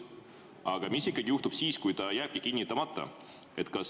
Aga mis ikkagi juhtub siis, kui ta jääbki kinnitamata?